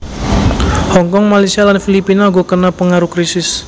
Hong Kong Malaysia lan Filipina uga kena pengaruh krisis